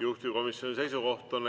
Juhtivkomisjoni seisukoht on